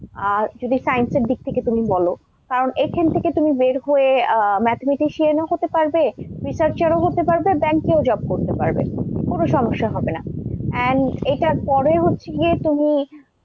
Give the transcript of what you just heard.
আর যদি science এর দিক থেকে তুমি বলো কারণ এখান থেকে তুমি বের হয়ে আহ mathematician ও হতে পারবে, researcher ও হতে পারবে, bank এও job করতে পারবে, কোন সমস্যা হবে না। and এটার পরে হচ্ছে গিয়ে তুমি,